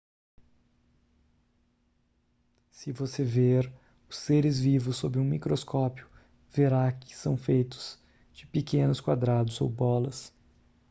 se você ver os seres vivos sob um microscópio verá que são feitos de pequenos quadrados ou bolas